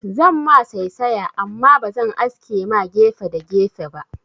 Zan ma saisaya amma bazan aske ma gefe da gefe ba